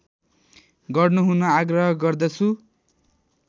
गर्नुहुन आग्रह गर्दछु